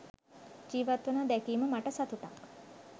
ජීවත්වනවා දැකීම මට සතුටක්.